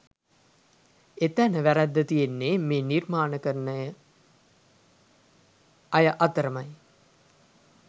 එතැන වැරැද්ද තියෙන්නෙ මේ නිර්මාණකරණ අය අතරමයි